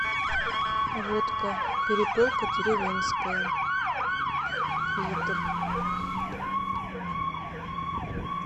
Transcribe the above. водка перепелка деревенская литр